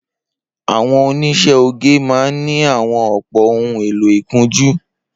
Awọn óniṣẹ̀ ógé mà n ni awọn àpó óhùn éló ikùnjù